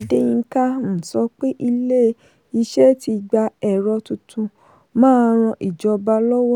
adeyinka um sọ pé ilé-iṣẹ́ tí gba ẹ̀rọ tuntun máa ràn ìjọba lọ́wọ́.